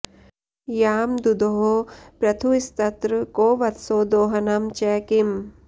यां दुदोह पृथुस्तत्र को वत्सो दोहनं च किम्